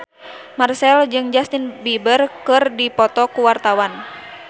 Marchell jeung Justin Beiber keur dipoto ku wartawan